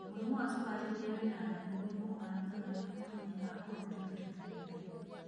Mũrimũ wa cukari rĩrĩa wĩna nda nĩ mũrimũ ũhanĩkaga rĩrĩa mũtũmia akua ũritũ rita rĩa mbere.